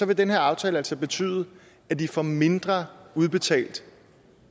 vil den her aftale altså betyde at de får mindre udbetalt